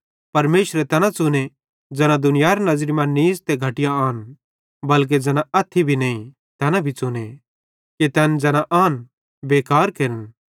परमेशरे तैना च़ुने ज़ैना दुनियारी नज़री मां नीच़ ते घटिया आन बल्के ज़ैना अथ्थी भी नईं तैना भी च़ुने कि तैन ज़ैना आन बेकार केरन